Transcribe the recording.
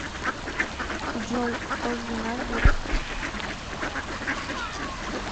джой кто жена гектор